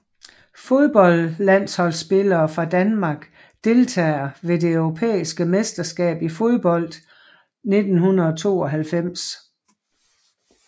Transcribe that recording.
Fodboldlandsholdsspillere fra Danmark Deltagere ved det europæiske mesterskab i fodbold 1992